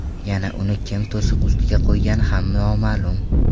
Yana uni kim to‘siq ustiga qo‘ygani ham noma’lum.